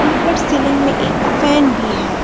ऊपर सीलिंग में एक फैन भी है।